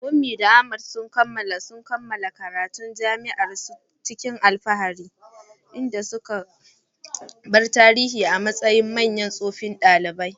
Funmi da Ahmad sun kammala karatun jami'a cikin alfahari, inda suka bar tarihi a matsayin manyan tsofaffin ɗalibai.